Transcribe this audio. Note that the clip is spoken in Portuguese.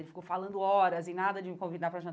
Ele ficou falando horas e nada de me convidar pra